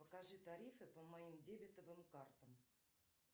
покажи тарифы по моим дебетовым картам